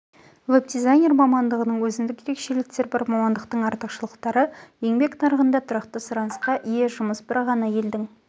веб-дизайнер мамандығының өзіндік ерекшеліктері бар мамандықтың артықшылықтары еңбек нарығында тұрақты сұранысқа ие жұмыс бір ғана елдің